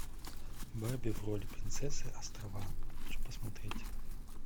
барби в роли принцессы острова хочу посмотреть